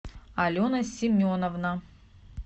алена семеновна